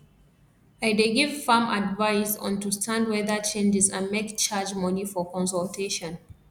i dey give farm advise on to stand weather changes and make charge money for consultation